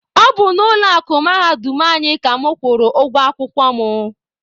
Ọ bụ n'ụlọ akụ mahadum anyị ka mụ kwụrụ ụgwọ akwụkwọ mụ.